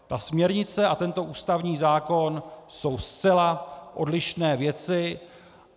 Ta směrnice a tento ústavní zákon jsou zcela odlišné věci.